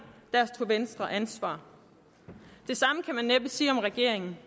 tog venstre ansvar det samme kan man næppe sige om regeringen